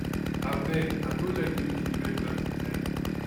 abeg i no like the way she dey wear glasses um